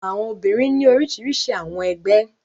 Àwọn obìnrin ní orísirísi àwọn ẹgbẹ́.